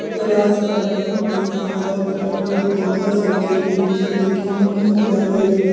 ओकर आस-पास बहुत बढ़िया हरा-भरा पेड़-पौधा सब जे रहे जे देखे में निक लागे रहे।